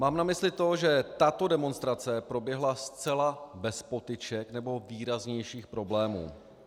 Mám na mysli to, že tato demonstrace proběhla zcela bez potyček nebo výraznějších problémů.